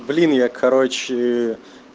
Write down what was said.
блин я короче